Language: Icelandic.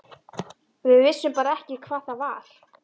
Við vissum bara ekki hvað það var.